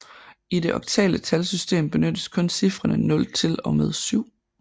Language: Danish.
I det oktale talsystem benyttes kun cifrene 0 til og med 7